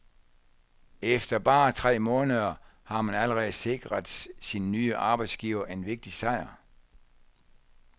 Efter bare tre måneder har han allerede sikret sin nye arbejdsgiver en vigtig sejr.